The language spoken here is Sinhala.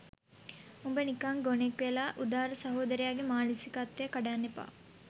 උඹ නිකං ගොනෙක් වෙලා උදාර සහෝදරයගේ මානසිකත්වය කඩන්න එපා